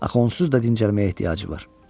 Axı onsuz da o dincəlməyə ehtiyacı var.